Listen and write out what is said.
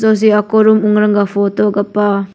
soh seh aku room ongrung ga photo gu pah.